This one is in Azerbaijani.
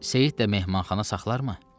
Seyid də mehmanxana saxlarmı?